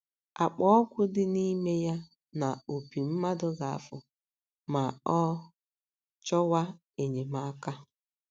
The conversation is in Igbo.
Akpa ọgwụ dị n’ime ya na opi mmadụ ga - afụ ma ọ chọwa enyemaka